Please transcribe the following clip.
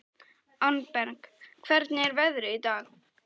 Arnberg, hvernig er veðrið í dag?